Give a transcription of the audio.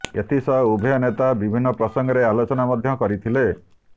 ଏଥିସହ ଉଭୟ ନେତା ବିଭିନ୍ନ ପ୍ରସଙ୍ଗରେ ଆଲୋଚନା ମଧ୍ୟ କରିଥିଲେ